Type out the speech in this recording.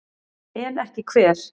En ekki hver?